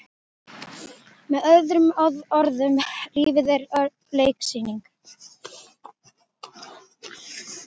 Með öðrum orðum- lífið er leiksýning.